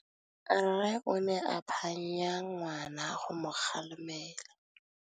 Rre o ne a phanya ngwana go mo galemela.